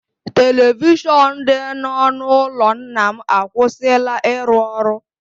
Televishọnụ dị n’ọnụ ụlọ nna m akwụsịla ịrụ ọrụ.